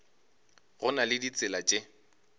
go na le ditsela tše